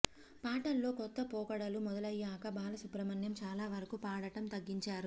పాటల్లో కొత్త పోకడలు మొదలయ్యాక బాలసుబ్రహ్మణ్యం చాలా వరకూ పాడటం తగ్గించారు